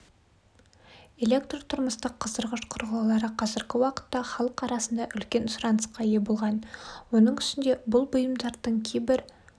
электртұрмыстық қыздырғыш құрылғылары қазіргі уақытта халық арасында үлкен сұранысқа ие болған оның үстіне бұл бұйымдардың кейбір